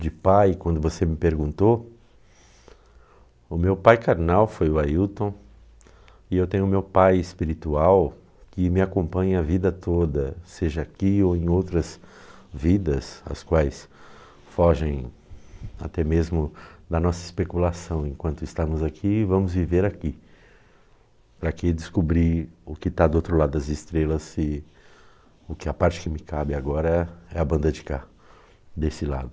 de pai, quando você me perguntou o meu pai carnal foi o Ailton e eu tenho meu pai espiritual que me acompanha a vida toda seja aqui ou em outras vidas, as quais fogem até mesmo da nossa especulação enquanto estamos aqui, vamos viver aqui para que descobrir o que está do outro lado das estrelas se oque a parte que me cabe agora é a banda de cá desse lado